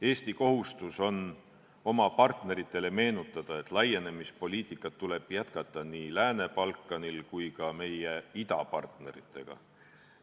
Eesti kohustus on oma partneritele meenutada, et laienemispoliitikat tuleb jätkata nii Lääne-Balkanil kui ka meie idapartnerite puhul.